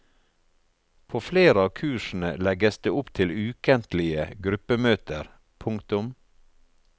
På flere av kursene legges det opp til ukentlige gruppemøter. punktum